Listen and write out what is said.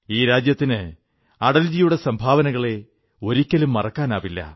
ഈ രാജ്യത്തിന് അടൽജിയുടെ സംഭാവനകളെ ഒരിക്കലും മറക്കാനാവില്ല